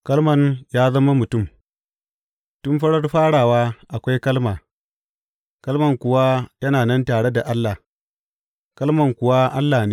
Kalman ya zama mutum Tun farar farawa akwai Kalma, Kalman kuwa yana nan tare da Allah, Kalman kuwa Allah ne.